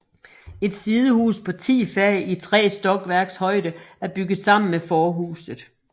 Et sidehus på ti fag i tre stokværks højde er bygget sammen med forhuset